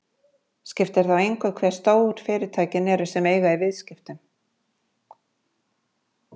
Skiptir þá engu hve stór fyrirtækin sem eiga í viðskiptunum eru.